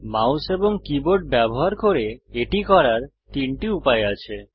mouse এবং keyboard ব্যবহার করে এটি করার তিনটি উপায় আছে